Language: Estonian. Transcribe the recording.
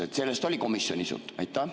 Kas sellest oli komisjonis juttu?